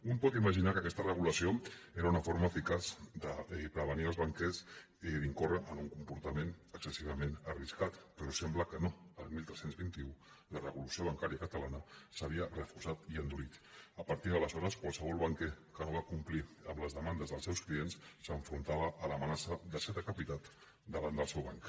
un pot imaginar que aquesta regulació era una forma eficaç de prevenir els banquers d’incórrer en un comportament excessivament arriscat però sembla que no el tretze vint u la regulació bancària catalana s’havia reforçat i endurit a partir d’aleshores qualsevol banquer que no va complir amb les demandes dels seus clients s’enfrontava a l’amenaça de ser decapitat davant del seu banc